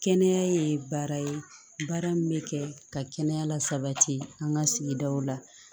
Kɛnɛya ye baara ye baara min bɛ kɛ ka kɛnɛya la sabati an ka sigidaw la